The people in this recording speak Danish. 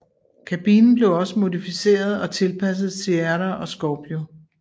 Kabinen blev også modificeret og tilpasset Sierra og Scorpio